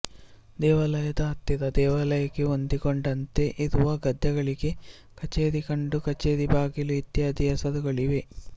ದೇವಾಲಯದ ಹತ್ತಿರ ದೇವಾಲಯಕ್ಕೆ ಹೊಂದಿಕೊಂಡಂತೆ ಇರುವ ಗದ್ದೆಗಳಿಗೆ ಕಛೇರಿ ಕಂಡಿ ಕಛೇರಿ ಬಾಗಿಲು ಇತ್ಯಾದಿ ಹೆಸರುಗಳಿವೆ